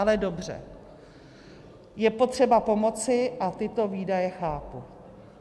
Ale dobře, je potřeba pomoci a tyto výdaje chápu.